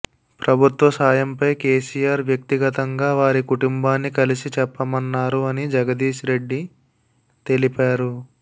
ప్రభుత్వ సాయంపై కేసీఆర్ వ్యక్తిగతంగా వారి కుటుంబాన్ని కలిసి చెప్పమన్నారు అని జగదీశ్ రెడ్డి తెలిపారు